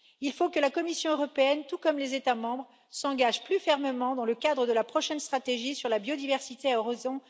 Il faut que la Commission européenne comme les États membres s'engagent plus fermement dans le cadre de la prochaine stratégie sur la biodiversité à horizon